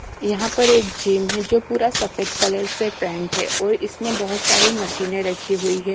यहां पर एक जिम है जो पूरा सफेद कलर से पेंट है और इसमें बहुत सारी मशीनें रखी हुई है।